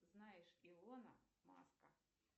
знаешь илона маска